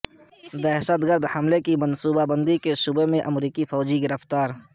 دہشت گرد حملے کی منصوبہ بندی کے شبے میں امریکی فوج گرفتار